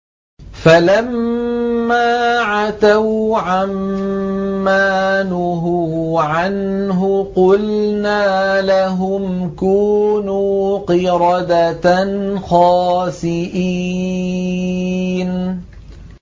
فَلَمَّا عَتَوْا عَن مَّا نُهُوا عَنْهُ قُلْنَا لَهُمْ كُونُوا قِرَدَةً خَاسِئِينَ